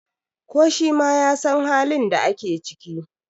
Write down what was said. ko shi ma ya San halin da ake ciki!